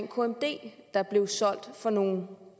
kmd der blev solgt for nogle